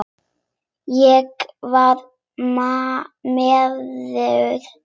Ég var miður mín.